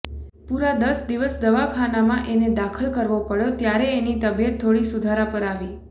પુરા દસ દિવસ દવાખાનામાં એને દાખલ કરવો પડ્યો ત્યારે એની તબિયત થોડી સુધારા પર આવી